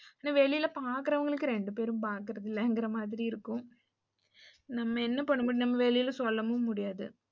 வெளில பாக்குறவங்களுக்கு ரெண்டு பேரும் பாக்குறதில்லங்கற மாறி இருக்கும். நம்ம என்ன பண்ண முடியும்? நம்ம வெளில சொல்லவும் முடியாது.